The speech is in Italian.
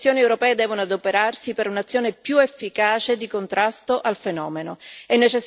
le istituzioni europee devono adoperarsi per un'azione più efficace di contrasto al fenomeno.